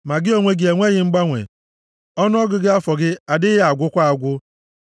Ma gị onwe gị enweghị mgbanwe, + 102:27 \+xt Aịz 41:1; Aịz 43:10; Mal 3:6; Hib 13:8; Jem 1:17\+xt* ọnụọgụgụ afọ gị adịghị agwụkwa agwụ.